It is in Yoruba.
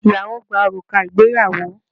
Ìyàwó gba òrùka ìgbéyàwó